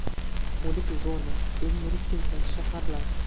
O‘lik zona: eng yirik kimsasiz shaharlar.